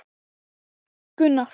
Spyr hvert hún sé að fara.